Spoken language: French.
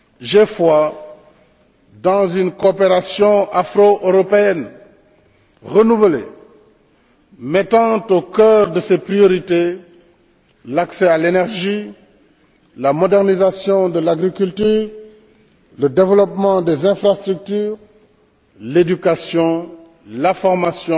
J'ai foi dans une coopération afro européenne renouvelée mettant au cœur de ses priorités l'accès à l'énergie, la modernisation de l'agriculture, le développement des infrastructures, l'éducation, la formation